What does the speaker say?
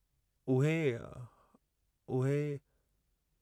उहे...... उहे.....